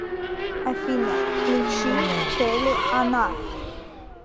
афина включи кэли она